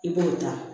I b'o ta